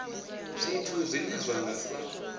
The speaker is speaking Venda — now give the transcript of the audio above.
zwithu zwine zwa nga sa